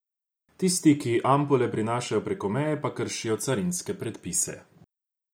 Tisti, ki ampule prinašajo preko meje, pa kršijo carinske predpise.